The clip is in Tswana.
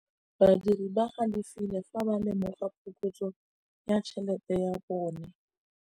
Badiri ba galefile fa ba lemoga phokotsô ya tšhelête ya bone.